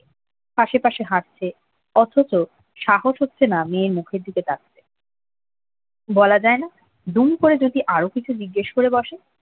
আশে পাশে হাঁটছে অথচ সাহস হচ্ছে না মেয়ের মুখের দিকে তাকানোর বলা যায় না দুম করে যদি আরো কিছু জিজ্ঞেস করে বসে